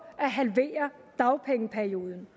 at halvere dagpengeperioden